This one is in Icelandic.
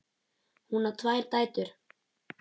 Hún á tvær dætur.